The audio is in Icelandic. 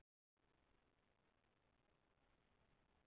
Marel, hvernig er dagskráin í dag?